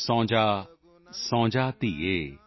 ਸੋ ਜਾਓ ਸੋ ਜਾਓ ਧੀਏ